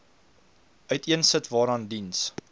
uiteensit waaraan diens